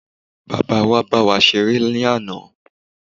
Bàbáa wa bá wa ṣeré ní àná.